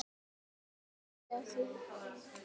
Hvernig reiddi því af?